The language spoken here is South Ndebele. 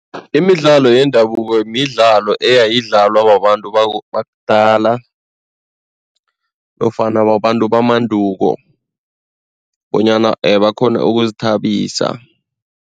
Imidlalo yendabuko midlalo eyayidlalwa babantu bakudala nofana babantu bamanduko bonyana bakghone ukuzithabisa.